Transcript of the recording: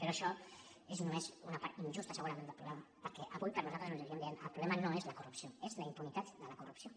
però això és només una part injusta segurament del problema perquè avui per nosaltres ho seguim dient el problema no és la corrupció és la impunitat de la corrupció